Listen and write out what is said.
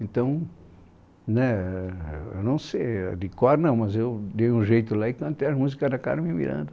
Então, né, eu não sei, ah de cor não, mas eu dei um jeito lá e cantei as músicas da Carmen Miranda.